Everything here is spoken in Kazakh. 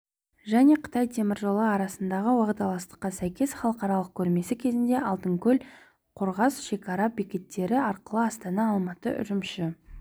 және қытай темір жолы арасындағы уағдаластыққа сәйкес халықаралық көрмесі кезінде алтынкөл қорғас шекара бекеттері арқылы астана-алматы-үрімші